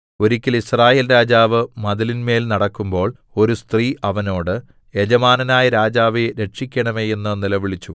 ഒരിക്കൽ യിസ്രായേൽ രാജാവ് മതിലിന്മേൽ നടക്കുമ്പോൾ ഒരു സ്ത്രീ അവനോട് യജമാനനായ രാജാവേ രക്ഷിക്കണമേ എന്ന് നിലവിളിച്ചു